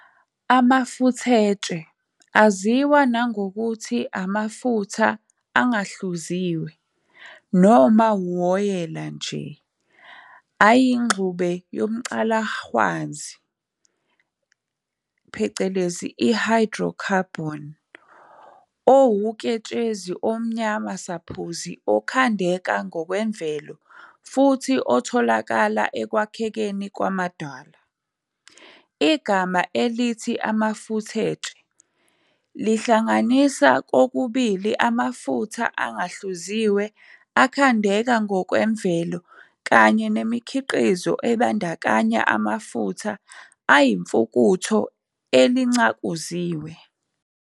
Amafuthetshe, aziwa nangokuthi amafutha angahluziwe, noma uwoyela nje, ayingxube yomCalahwanzi phecelezi hydrocarbon, owuketshezi omnyama-saphuzi okhandeka ngokwemvelo futhi otholakala ekwakhekeni kwamadwala. Igama elithi amafuthetshe lihlanganisa kokubili amafutha angahluziwe akhandeka ngokwemvelo kanye nemikhiqizo ebandakanya amafutha ayifukutho elincakuziwe.